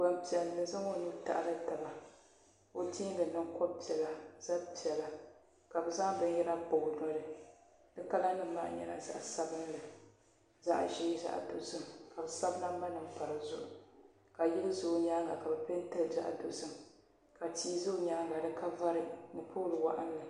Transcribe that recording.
Gbaŋ piɛlli zaŋ o nuu taɣili taba o tɛɛŋga niŋ kobiri piɛlla zabi piɛlla ka bi zaŋ bini yɛra kpa o noli di kala nima maa nyɛla zaɣi sabinli zaɣi ʒee zaɣi dozim ka bi sabi namba nima m-pa di zuɣu ka yili za o yɛanga ka bi pɛnti li zaɣi dozim ka tia za o yɛanga di ka vari ni polo wɔɣinli.